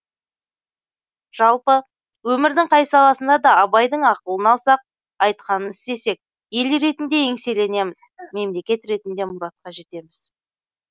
жалпы өмірдің қай саласында да абайдың ақылын алсақ айтқанын істесек ел ретінде еңселенеміз мемлекет ретінде мұратқа жетеміз